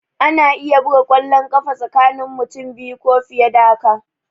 Ana iya buga kwallon ƙafa tsakani mutum biyu ko fiye da haka